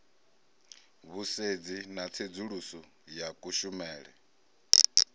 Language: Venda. vhusedzi na tsedzuluso ya kushumele